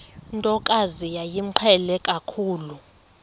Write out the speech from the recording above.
ntokazi yayimqhele kakhulu